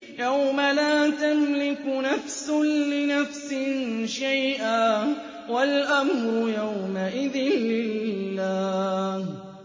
يَوْمَ لَا تَمْلِكُ نَفْسٌ لِّنَفْسٍ شَيْئًا ۖ وَالْأَمْرُ يَوْمَئِذٍ لِّلَّهِ